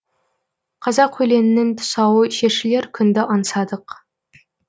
қазақ өлеңінің тұсауы шешілер күнді аңсадық